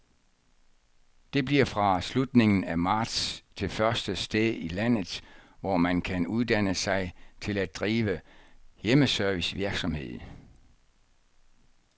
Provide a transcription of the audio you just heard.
Det bliver fra slutningen af marts det første sted i landet, hvor man kan uddanne sig til at drive hjemmeservicevirksomhed.